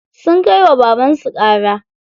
Sun kai wa babansu ƙara.